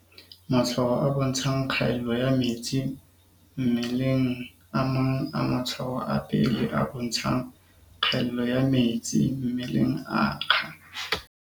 Matshwao a bontshang kgaello ya metsi mmelengA mang a matshwao a pele a bontshang kgaello ya metsi mmeleng a akga.